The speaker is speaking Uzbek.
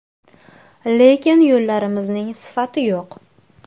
Lekin yo‘llarimizning sifati yo‘q .